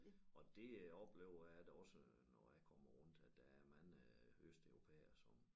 Og det øh oplever jeg da også øh når jeg kommer rundt at der er mange østeuropæere som